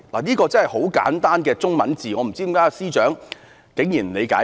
這是很簡單的文字，我不知為何司長竟然不理解。